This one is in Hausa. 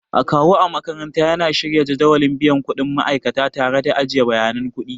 Akawu a makaranta yana shirya jadawalin biyan kuɗin ma'aikata tare da ajiye bayanan kuɗi.